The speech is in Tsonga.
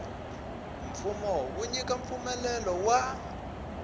mfumo wo nyika mpfumelelo wa